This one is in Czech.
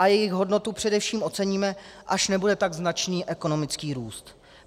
A jejich hodnotu především oceníme, až nebude tak značný ekonomický růst.